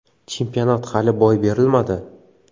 Chempionat hali boy berilmadi.